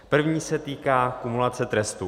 První se týká kumulace trestů.